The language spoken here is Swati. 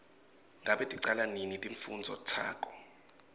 ngabe ticala nini timfundvo takho